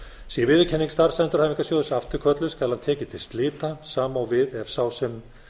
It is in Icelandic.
sé viðurkenning starfsendurhæfingarsjóðs afturkölluð skal hann tekinn til slita sama á við ef sá sem